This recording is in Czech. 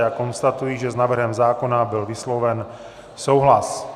Já konstatuji, že s návrhem zákona byl vysloven souhlas.